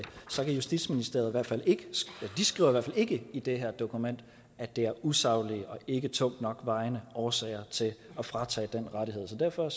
skriver justitsministeriet i hvert fald ikke i det her dokument at det er usaglige og ikke tungt nok vejende årsager til at fratage den rettighed så derfor